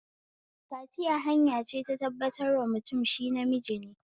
Kaciya hanya ce ta tabbatar wa mutum shi namiji ne